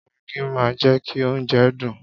Maggi máa ń jẹ́ kí oúnjẹ dùn.